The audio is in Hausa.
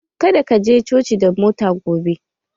Ka da ka je coci da mota gobe!